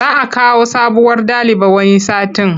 Za a kawo sabuwar daliba wani satin.